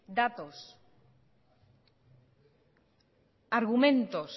datos argumentos